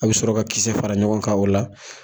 A bɛ sɔrɔ ka kisɛ fara ɲɔgɔn kan o la